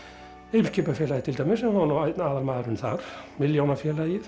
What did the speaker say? Eimskipafélagið til dæmis hann var einn aðalmaðurinn þar